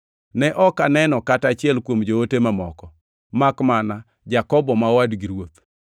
Ne ok aneno kata achiel kuom joote mamoko, makmana Jakobo ma owadgi Ruoth.